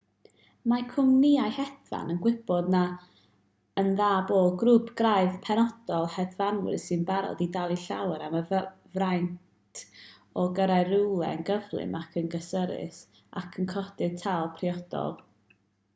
mae cwmnïau hedfan yn gwybod yn dda bod grŵp craidd penodol o hedfanwyr sy'n barod i dalu llawer am y fraint o gyrraedd rhywle yn gyflym ac yn gysurus ac yn codi'r tâl priodol